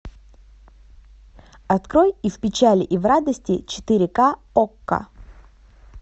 открой и в печали и в радости четыре ка окко